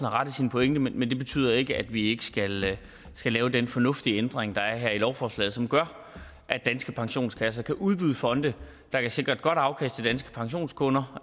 ret i sin pointe men det betyder ikke at vi ikke skal skal lave den fornuftige ændring der er her i lovforslaget som gør at danske pensionskasser kan udbyde fonde der kan sikre et godt afkast til danske pensionskunder